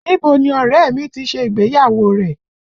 Níbo ni ọ̀rẹ́ ẹ̀ mi ti ṣe ìgbéyàwó rẹ̀?